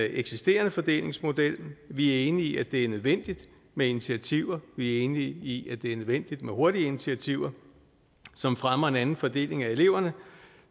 eksisterende fordelingsmodel vi er enige i at det er nødvendigt med initiativer vi er enige i at det er nødvendigt med hurtige initiativer som fremmer en anden fordeling af eleverne